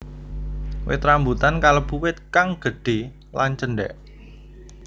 Wit rambutan kalebu wit kang gédhé lan cendhék